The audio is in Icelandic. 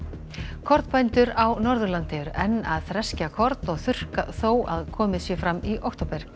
kornbændur á Norðurlandi eru enn að þreskja korn og þurrka þó að komið sé fram í október